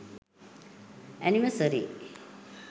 anniversary